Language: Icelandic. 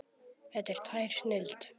Þetta er tær snilld.